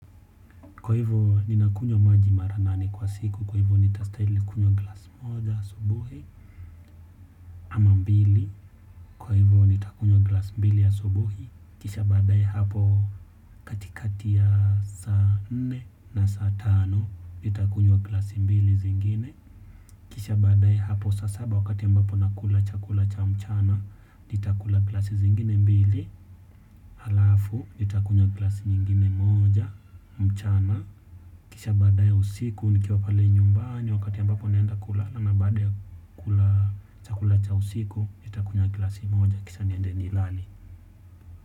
Kwa hivyo ninakunywa maji mara nane kwa siku kwa hivyo nitastahili kunywa glasi moja asubuhi ama mbili kwa hivyo nitakunywa glasi mbili ya asubuhi. Kisha baadae hapo katikati ya saa nne na saa tano nitakunywa glasi mbili zingine. Kisha baadae hapo saa saba wakati ambapo nakula chakula cha mchana nitakula glasi zingine mbili, halafu nitakunywa glasi nyingine moja mchana kisha baadae usiku nikiwa pale nyumbani wakati ambapo naenda kulala na baada ya kula chakula cha usiku nitakunya glasi moja kisha niende nilale.